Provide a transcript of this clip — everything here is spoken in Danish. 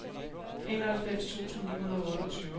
enoghalvfems tusind ni hundrede og otteogtyve